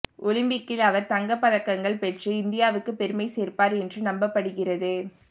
ஒலிம்பிக்கில் அவர் தங்கப்பதக்கங்கள் பெற்று இந்தியாவுக்கு பெருமை சேர்ப்பார் என்றும் நம்பப்படுகிறது